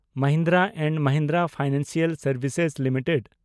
Mahindra and Mahindra financial services limited